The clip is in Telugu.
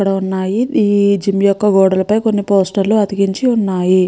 ఇక్కడ వున్నాయి ఈ జిమ్ యొక్క గోడలపై కొన్ని పోస్టర్లు అతికించి వున్నాయి.